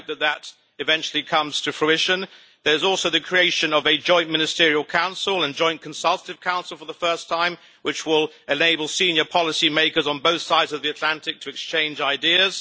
I hope that eventually comes to fruition. There is also the creation of a Joint Ministerial Council and Joint Consultative Council for the first time, which will enable senior policymakers on both sides of the Atlantic to exchange ideas.